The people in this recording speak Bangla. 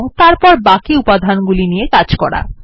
এবং তারপর বাকি উপাদানগুলি নিয়ে কাজ করা